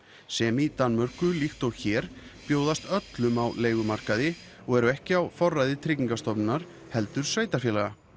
sem í Danmörku líkt og hér bjóðast öllum á leigumarkaði og eru ekki á forræði Tryggingastofnunar heldur sveitarfélaga